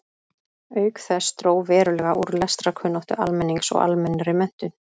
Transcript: Auk þess dró verulega úr lestrarkunnáttu almennings og almennri menntun.